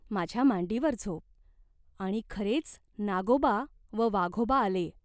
माझ्या मांडीवर झोप." आणि खरेच नागोबा व वाघोबा आले.